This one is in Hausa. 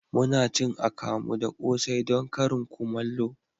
Muna cin akamu da kose don karin kumallo